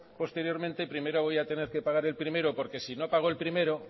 posteriormente primero voy a tener que pagar el primero porque si no pago el primero